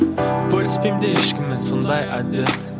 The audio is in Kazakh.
бөліскенде ешкіммен сондай әдет